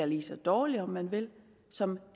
lige dårlig om man vil som